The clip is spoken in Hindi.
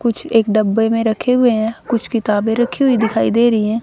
कुछ एक डब्बे में रखे हुए हैं कुछ किताबें रखी हुई दिखाई दे रही हैं।